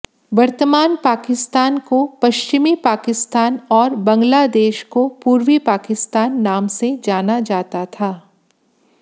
वर्तमान पाकिस्तान को पश्चिमी पाकिस्तान और बंगलादेश को पूर्वी पाकिस्तान नाम से जाना जाता था